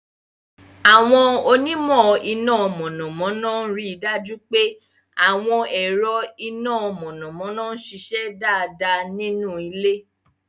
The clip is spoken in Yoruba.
Àwọn onímọ̀ iná mọ̀nàmọ́ná ń rí i dájú pé àwọn ẹ̀rọ iná mọ̀nàmọ́ná ń ṣiṣẹ́ dáadáa nínú ilé.